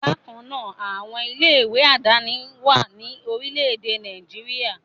Bákan náà, àwọn ilé-ìwé aládàáni wà ní orílẹ̀-èdè Nàìjíríà.